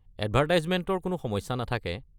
এডভাৰটাইজমেণ্টৰ কোনো সমস্যা নাথাকে।